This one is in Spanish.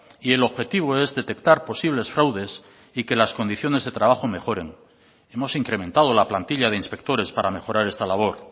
y el objetivo es detectar posibles fraudes y que las condiciones de trabajo mejoren hemos incrementado la plantilla de inspectores para mejorar esta labor